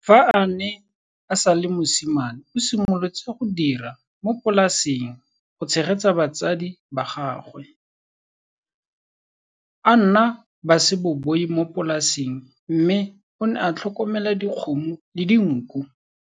Fa a ne a sa le mosimane o simolotse go dira mo polaseng go tshegetsa batsadi ba gagwe. A nna baseboi mo polaseng mme o ne a tlhokomela dikgomo le dinku.